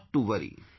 Not to worry